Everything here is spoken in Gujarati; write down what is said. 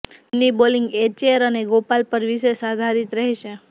ટીમની બોલિંગ એર્ચેર અને ગોપાલ પર વિશેષ આધારિત રહેશે